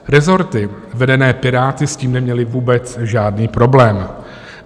Rezorty vedené Piráty s tím neměly vůbec žádný problém.